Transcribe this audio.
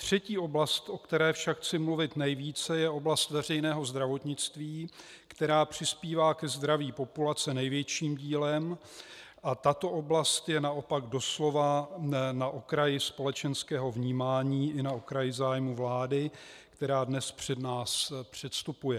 Třetí oblast, o které však chci mluvit nejvíce, je oblast veřejného zdravotnictví, která přispívá ke zdraví populace největším dílem, a tato oblast je naopak doslova na okraji společenského vnímání i na okraji zájmů vlády, která dnes před nás předstupuje.